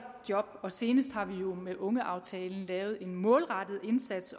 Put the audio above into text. job og senest har vi jo med ungeaftalen lavet en målrettet indsats